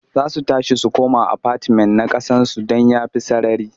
Za su tashi su koma afatimen na ƙasansu don ya fi sarari.